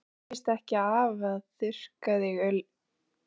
Þér veitir víst ekki af að þurrka þig ofurlítið.